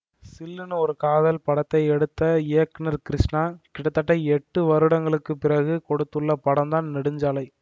சில்லுனு ஒரு காதல் படத்தை எடுத்த இயக்குநர் கிருஷ்ணா கிட்டத்தட்ட எட்டு வருடங்களுக்கு பிறகு கொடுத்துள்ள படம்தான் நெடுஞ்சாலை